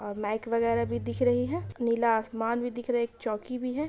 और माइक वगेरा भी दिख रही है नीला आसमान भी दिख रहा है एक चौकी भी है।